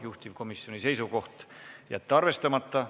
Juhtivkomisjoni seisukoht: jätta arvestamata.